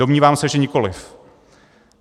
Domnívám se, že nikoliv.